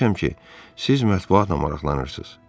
Eşitmişəm ki, siz mətbuatla maraqlanırsınız.